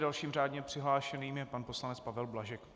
Dalším řádně přihlášeným je pan poslanec Pavel Blažek.